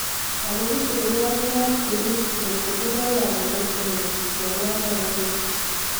ago bichu kunyalunot kerib ngotkotindo kamuget konyor mianitok kokeng'